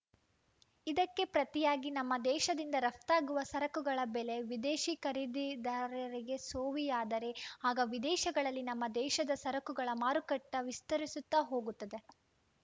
ಇದಕ್ಕೆ ಪ್ರತಿಯಾಗಿ ನಮ್ಮ ದೇಶದಿಂದ ರಫ್ತಾಗುವ ಸರಕುಗಳ ಬೆಲೆ ವಿದೇಶಿ ಖರೀದಿದಾರರಿಗೆ ಸೋವಿಯಾದರೆ ಆಗ ವಿದೇಶಗಳಲ್ಲಿ ನಮ್ಮ ದೇಶದ ಸರಕುಗಳ ಮಾರುಕಟ್ಟೆವಿಸ್ತರಿಸುತ್ತಾ ಹೋಗುತ್ತದೆ